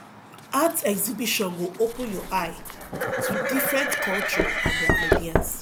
art exhibition go open your eye to different culture and their ideas